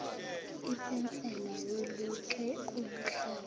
ipensela weluke ubuhlalu